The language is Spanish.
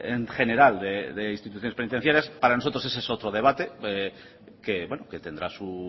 en general de instituciones penitenciarias para nosotros ese es otro debate que tendrá su